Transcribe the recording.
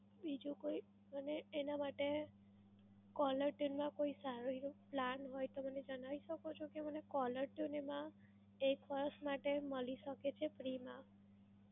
બીજો કોઈ મને એના માટે caller tune માં કોઈ સારું plan હોય તો મને જણાવી શકો છો કે મને caller tune એમાં એ first માટે મલી શકે છે free માં